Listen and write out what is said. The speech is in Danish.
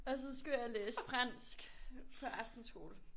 Og så skulle jeg læse fransk på aftenskole